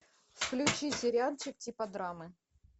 включи сериальчик типа драмы